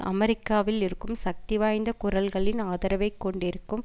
அமெரிக்காவில் இருக்கும் சக்திவாய்ந்த குரல்களின் ஆதரவைக் கொண்டிருக்கும்